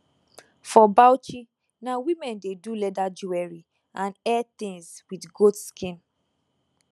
for bauchi na women dey do leather jewellery and hair things with goat skin